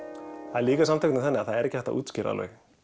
það er líka þannig að það er ekki hægt að útskýra